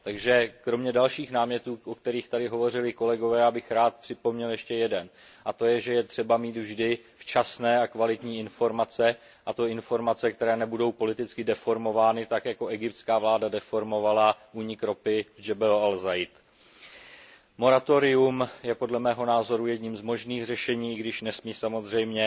Takže kromě dalších námětů, o kterých tady hovořili kolegové, bych rád připomněl ještě jeden, a to, že je třeba mít vždy včasné a kvalitní informace, a to informace, které nebudou politicky deformovány, tak jako egyptská vláda deformovala únik ropy v Jebel al Zayt. Moratorium je podle mého názoru jedním z možných řešení, i když nesmí samozřejmě